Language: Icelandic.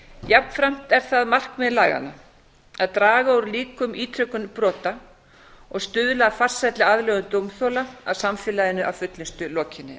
jafnframt er það markmið laganna að draga úr líkum á ítrekun brota og stuðla að farsælli aðlögun dómþola að samfélaginu að fullnustu lokinni